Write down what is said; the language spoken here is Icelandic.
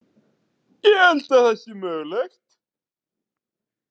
Ég held að það sé mögulegt.